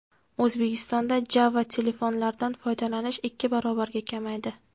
O‘zbekistonda Java-telefonlardan foydalanish ikki barobarga kamaydi.